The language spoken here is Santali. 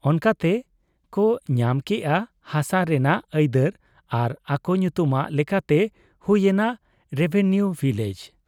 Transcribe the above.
ᱚᱱᱠᱟᱛᱮ ᱠᱚ ᱧᱟᱢ ᱠᱮᱜ ᱟ ᱦᱥᱟ ᱨᱮᱱᱟᱜ ᱟᱹᱭᱫᱟᱹᱨ ᱟᱨ ᱟᱠᱚ ᱧᱩᱛᱩᱢᱟᱜ ᱞᱮᱠᱟᱛᱮ ᱦᱩᱭ ᱮᱱᱟ ᱨᱮᱵᱷᱮᱱᱭᱚ ᱵᱷᱤᱞᱮᱡᱽ ᱾